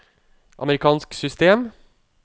amerikansk system